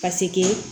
Paseke